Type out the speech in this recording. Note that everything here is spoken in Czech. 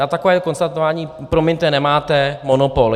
Na takové konstatování, promiňte, nemáte monopol.